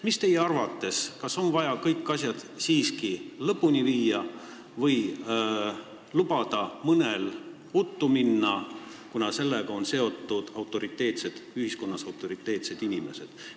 Mis teie arvate, kas oleks vaja siiski kõik asjad lõpuni viia või saab lubada mõnel n-ö uttu minna, kuna sellega on seotud ühiskonnas autoriteetsed inimesed?